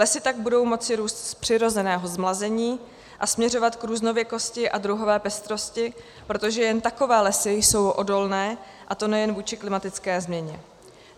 Lesy tak budou moci růst z přirozeného zmlazení a směřovat k různověkosti a druhové pestrosti, protože jen takové lesy jsou odolné, a to nejen vůči klimatické změně.